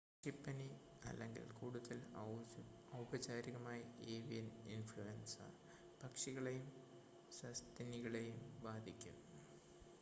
പക്ഷിപ്പനി അല്ലെങ്കിൽ കൂടുതൽ ഔപചാരികമായി ഏവിയൻ ഇൻഫ്ലുവൻസ പക്ഷികളേയും സസ്തനികളെയും ബാധിക്കും